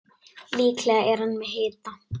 Líklega er hann með hita.